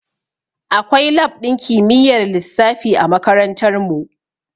Akwai lab ɗin kimiyyar lissafi a makarantar mu